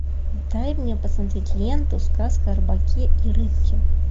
дай мне посмотреть ленту сказка о рыбаке и рыбке